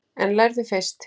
En lærðu fyrst.